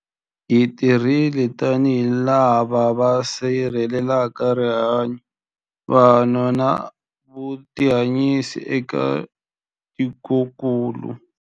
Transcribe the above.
Hi tirhile tanihi lava va sirhelelaka rihanyu, vanhu na vutihanyisi eka tikokulu.